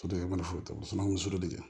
Soden kelen o fana ye muso furu de